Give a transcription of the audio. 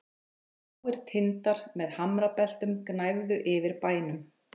Háir tindar með hamrabeltum gnæfðu yfir bænum.